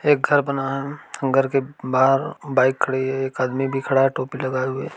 एक घर बना है। घर के बाहर बाइक खड़ी है। एक आदमी भी खड़ा है टोपी लगाए हुए।